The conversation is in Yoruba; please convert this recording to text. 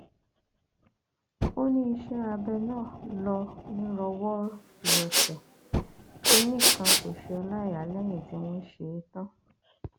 ó ní iṣẹ abẹ náà ló nírọwọìrọsẹ kinní kan kò ṣe ọláìyà lẹyìn tí wọn ṣe é tán